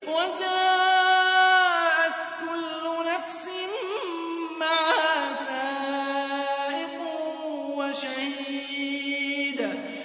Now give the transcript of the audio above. وَجَاءَتْ كُلُّ نَفْسٍ مَّعَهَا سَائِقٌ وَشَهِيدٌ